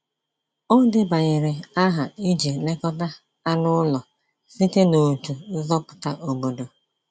Ọ debanyere aha iji lekọta anụ ụlọ site n’otu nzọpụta obodo.